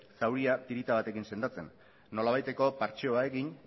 zauria tirita batekin sendatzen nolabaiteko partxeo egin